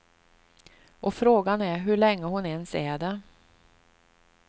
Och frågan är hur länge hon ens är det.